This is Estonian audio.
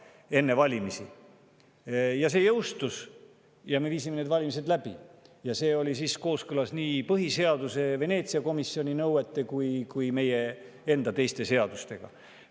Ja see jõustus ja me viisime need valimised läbi ja see oli kooskõlas nii Veneetsia komisjoni nõuetega kui ka põhiseaduse ja meie teiste seadustega.